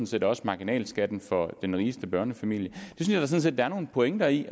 set også marginalskatten for den rigeste børnefamilie synes jeg da der er nogle pointer i